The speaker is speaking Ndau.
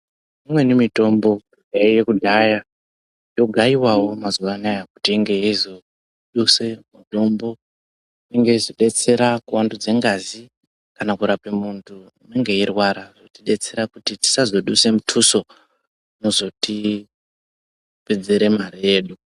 Imweni mitombo yaiye kudhaya ino gayiwawo mazuva anaya kuti inge ichizo duse mutombo inge yeizo detsera ku wandudza ngazi kana kurape muntu anenge eyi rwara zvoti detsera kuti tisazo duse mutuso unozoti pedzere mare yedu.